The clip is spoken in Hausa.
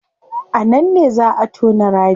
A nan ne zaa a tona rami